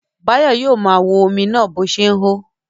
Báyọ̀ yóò máa wo omi náà bó ṣe ń hó.